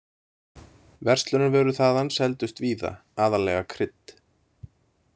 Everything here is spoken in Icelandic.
Verslunarvörur þaðan seldust víða, aðallega krydd.